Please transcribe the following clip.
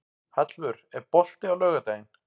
Hallvör, er bolti á laugardaginn?